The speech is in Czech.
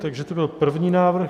Takže to byl první návrh.